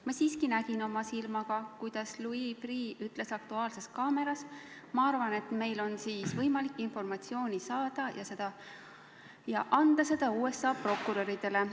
Ma siiski nägin oma silmaga, kuidas Louis Freeh ütles "Aktuaalses kaameras": ma arvan, et meil on võimalik informatsiooni saada ja anda seda USA prokuröridele.